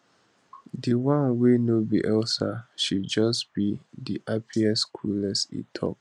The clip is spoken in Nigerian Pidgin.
di one wey no be elsa she just be di happiest coolest e tok